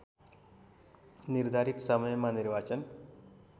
निर्धारित समयमा निर्वाचन